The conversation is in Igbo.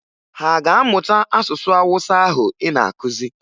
Ha a ga-amụta asụsụ Awụsa ahụ ị na-akụzi?